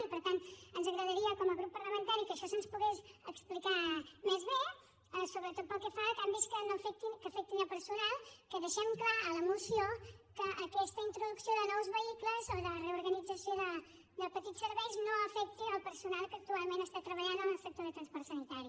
i per tant ens agradaria com a grup parlamentari que això se’ns pogués explicar més bé sobretot pel que fa a canvis que afectin personal que deixem clar a la moció que aquesta introducció de nous vehicles o de reorganització de petits serveis no afecta el personal que actualment està treballant en el sector de transport sanitari